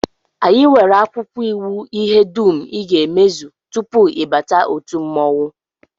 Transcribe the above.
Anyị nwere akwụkwọ iwu ihe dum I ga-emezu tupu ị bata otu mmọnwụ